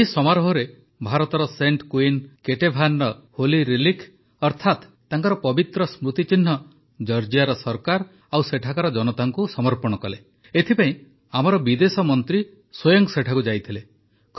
ଏହି ସମାରୋହରେ ଭାରତର ସେଣ୍ଟ୍ କୁଇନ୍ କେଟେଭାନର ହୋଲି ରେଲିକ୍ ଅର୍ଥାତ ତାଙ୍କର ପବିତ୍ର ସ୍ମୃତିଚିହ୍ନ ଜର୍ଜିଆର ସରକାର ଓ ସେଠାକାର ଜନତାକୁ ସମର୍ପଣ କଲେ ଏଥିପାଇଁ ଆମର ବିଦେଶ ମନ୍ତ୍ରୀ ସ୍ୱୟଂ ସେଠାକୁ ଯାଇଥିଲେ